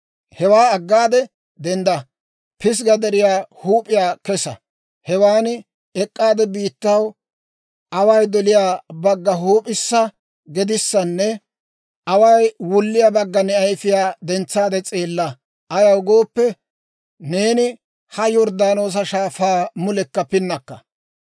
Hewaa aggaade dendda, Pisgga Deriyaa huup'iyaa kesa; hewan ek'k'aade biittaw away doliyaa bagga, huup'issa, gedissanne away wulliyaa bagga ne ayfiyaa dentsaade s'eella. Ayaw gooppe, neeni ha Yorddaanoosa Shaafaa mulekka pinnakka.